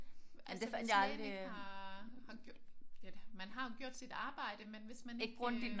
Kan man det altså hvis lægen ikke har har ja det man har jo gjort sit arbejde men hvis man ikke øh